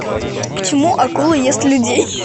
почему акула ест людей